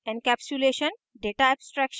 encapsulation data abstraction